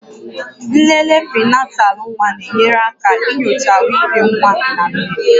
Nlele prịnatalụ nwa na-enyere aka nyochaa ahụike nwa na nne